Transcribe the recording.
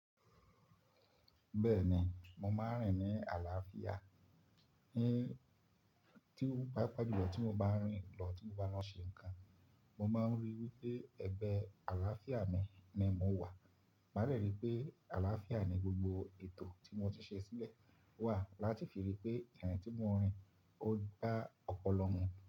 Bẹ́ẹ̀ ni, mo máa ń rìn ní àlàáfíà, ní tí ó pàápàá jùlọ tí mo bá rìn lọ tí mo bá lọ n ṣe ǹkan. Mo máa ń ríi wí pé ẹgbẹ́ àlàáfíà mi ni mo wà, màá de ríi pé àlàáfíà ni gbogbo ètò tí mo ti ṣe sílẹ̀ wà láti fi ríi pé irin tí mo ń rìn ó gba ọpọlọ mu.